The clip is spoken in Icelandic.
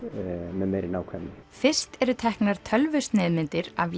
með meiri nákvæmni fyrst eru teknar tölvusneiðmyndir af